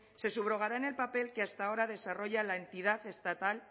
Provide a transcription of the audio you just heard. se subrogará en el papel que hasta ahora desarrolla la entidad estatal